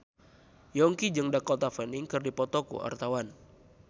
Yongki jeung Dakota Fanning keur dipoto ku wartawan